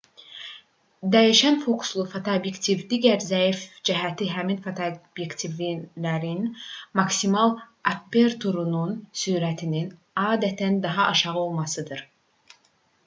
dəyişən fokuslu fotoobyektivlərin digər zəif cəhəti həmin fotoobyektivlərin maksimal aperturunun sürətinin adətən daha aşağı olmasıdır